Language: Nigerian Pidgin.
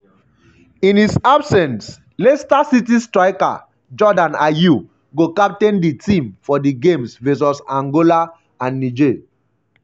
in his absence leicester city striker jordan ayew go captain di team for di games vs angola and niger.